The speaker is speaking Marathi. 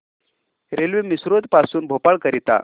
रेल्वे मिसरोद पासून भोपाळ करीता